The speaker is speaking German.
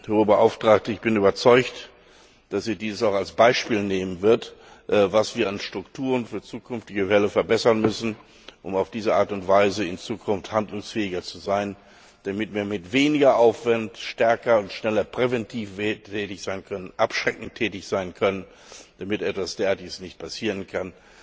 Hohe Beauftragte, ich bin überzeugt, dass wir dies auch als Beispiel nehmen werden, was wir an Strukturen für zukünftige Fälle verbessern müssen, um auf diese Art und Weise in Zukunft handlungsfähiger zu sein, damit wir mit weniger Aufwand stärker und schneller präventiv tätig sein können, abschreckend tätig sein können, damit etwas derartiges nicht wieder passieren kann,